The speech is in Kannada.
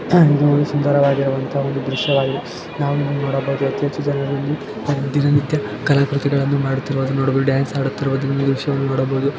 ಇದು ಒಂದು ಸುಂದರವಾಗಿರುವಂತ ಒಂದು ದೃಶ್ಯವಾಗಿದೆ ನಾವು ಇಲ್ಲಿ ನೋಡಬಹುದು ಅತೀ ಹೆಚ್ಚು ಜನರು ಅಲ್ಲಿ ದಿನನಿತ್ಯಾ ಕಲಾಕೃತಿ ಗಳನ್ನೂ ಮಾಡುತ್ತಿರುವುದು ನೋಡಬಹುದು ಡಾನ್ಸ್ ಆಡುತ್ತಿರುವುದು ಈ ದೃಶ್ಯವನ್ನು ನೋಡಬಹುದು.